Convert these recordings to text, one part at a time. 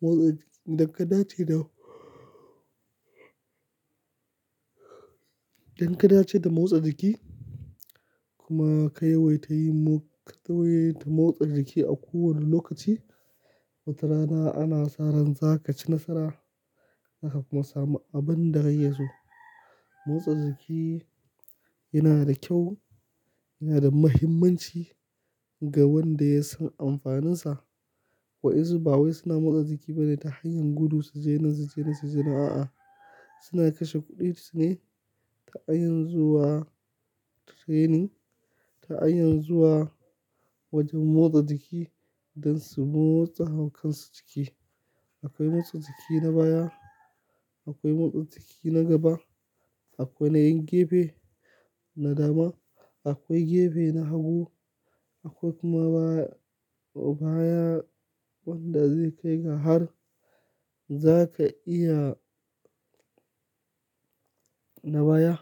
motsa idan ka dace da, idan ka dace da motsa jiki kuma ka yawaita yi motsa, ka yawaita motsa jiki a kowane lokaci, watarana ana sa ran za ka ci nasara, za ka kuma samu abin da kake so. Motsa jiki yana da kyau, yana da muhimmanci ga wanda ya san amfaninsa. Wa yansu ba wai suna motsa jiki bane ta hanyar gudu su je nan su je nan su je nan a'a. Suna kashe kuɗin su ne ta hanyar zuwa training, ta hanyar zuwa wajen motsa jiki don su motsa haukan su jiki. Akwai motsa jiki na baya, akwai motsa jiki na gaba, akwai na yin gefe, na dama, akwai gefe na hagu, akwai kuma baya, baya wanda zai kai ka har za ka iya na baya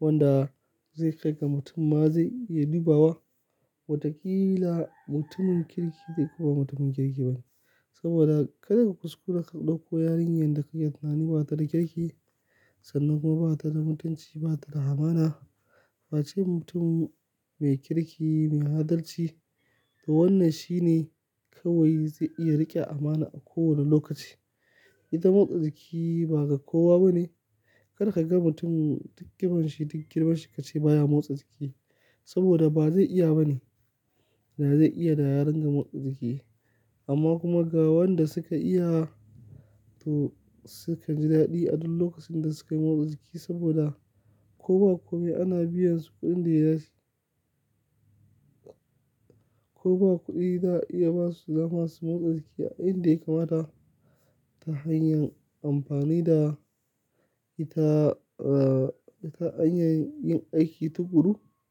wanda zai kai ga mutum ma zai iya dubawa watakila mutumin kirki ne koba mutumin kirkibane. Saboda kada ka kuskura ka ɗauko yarinyar da ka yi tunani ba ta da kirki sannan kuma ba ta da mutunci ba ta da amana. Fa ce mutum mai kirki, mai adalci to wannan shi ne kawai zai iya riƙe amana a kowane lokaci. Ita motsa jiki ba ga kowa bane. Kar ka ga mutum duk ƙiban shi duk girman shi ka ce baya motsa jiki saboda ba zai iya bane. Da zai iya da ya dinga motsa jiki. Amma kuma ga wanda suka iya to sukan ji daɗi a duk lokacin da suka yi motsa jiki saboda ko ba komi ana biyan su kuɗin da ya. Ko ba kuɗi za a iya ba su dama su motsa jiki a inda ya kamata ta hanyar amfani da ita, ah, ta hanyar yin aiki tuƙuru.